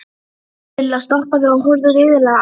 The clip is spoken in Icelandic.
Ég áræddi að reyna aftur við vinnumarkaðinn.